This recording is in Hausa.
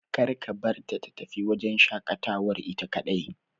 Kar ka barta ta tafi wajen shaƙatawar ita kaɗai.